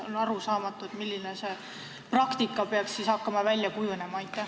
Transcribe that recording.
On arusaamatu, milline praktika peaks siin hakkama välja kujunema.